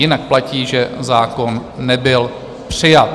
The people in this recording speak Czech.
Jinak platí, že zákon nebyl přijat.